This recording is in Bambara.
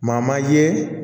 Maa man ye